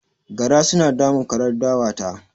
Gara suna damun karar dawa ta